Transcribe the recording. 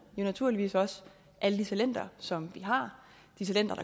naturligvis også alle de talenter som vi har de talenter